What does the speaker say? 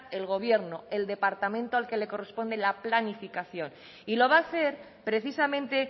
el gobierno el departamento al que le corresponde la planificación y lo va a hacer precisamente